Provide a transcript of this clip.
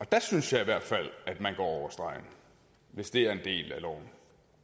der synes jeg i hvert fald at man går over stregen hvis det er en del af loven